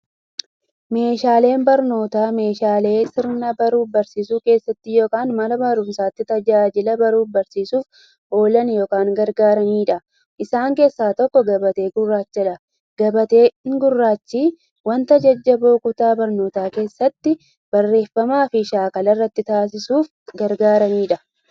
Meeshaaleen barnootaa meeshaalee sirna baruuf barsiisuu keessatti yookiin Mana barumsatti tajaajila baruuf barsiisuuf oolan yookiin gargaaraniidha. Isaan keessaa tokko, gabatee gurraachadha. Gabatee gurraachi wanta jajjaboo kutaa barnootaa keeessatti, barreeffamaafi shaakala irratti taasisuuf gargaarudha.